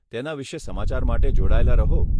તેના વિશે સમાચાર માટે જોડાયેલા રહો.